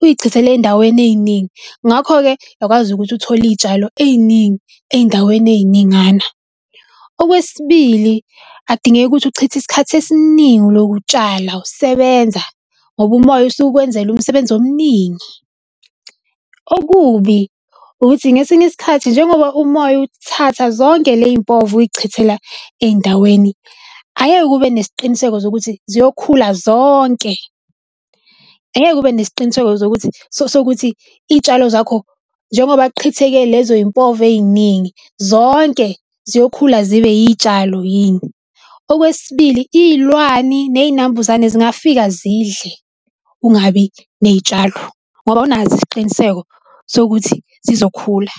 uyichithele eyindaweni eyiningi. Ngakho-ke uyakwazi ukuthi uthole iy'tshalo ey'ningi ey'ndaweni ey'ningana. Okwesibili, ak'dingeki ukuthi ukuchithe isikhathi esiningi uloku utshala usebenza ngoba umoya usuke ukwenzele umsebenzi omningi. Okubi ukuthi ngesinye isikhathi njengoba umoya uthatha zonke ley'mpova uy'chithela ey'ndaweni, angeke ube nesiqiniseko zokuthi ziyokhula zonke. Angeke ube nesiqiniseko zokuthi sokuthi iy'tshalo zakho, njengoba kuqhitheke lezo yimpova ey'ningi, zonke ziyokhula zibe iy'tshalo yini. Okwesibili, iy'lwani ney'nambuzane zingafika zidle kungabi ney'tshalo ngoba awunaso isiqiniseko sokuthi zizokhula.